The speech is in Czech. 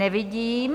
Nevidím.